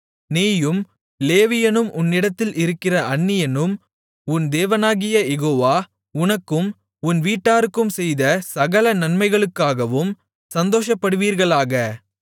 நீயும் லேவியனும் உன்னிடத்தில் இருக்கிற அந்நியனும் உன் தேவனாகிய யெகோவா உனக்கும் உன் வீட்டாருக்கும் செய்த சகல நன்மைகளுக்காகவும் சந்தோஷப்படுவீர்களாக